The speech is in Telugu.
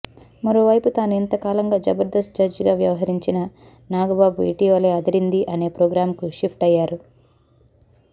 మరోవైపు తాను ఇంతకాలంగా జబర్దస్ జడ్జీగా వ్యవహరించిన నాగబాబు ఇటీవలే అదిరింది అనే ప్రోగ్రామ్కు షిఫ్ట్ అయ్యారు